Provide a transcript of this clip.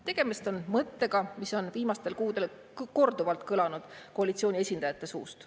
" Tegemist on mõttega, mis on viimastel kuudel korduvalt kõlanud koalitsiooni esindajate suust.